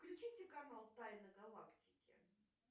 включите канал тайны галактики